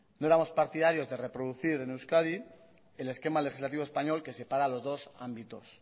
no éramos partidarios de reproducir en euskadi el esquema legislativo español que separa los dos ámbitos